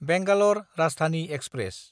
Bangalore Rajdhani express